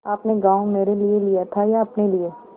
आपने गॉँव मेरे लिये लिया था या अपने लिए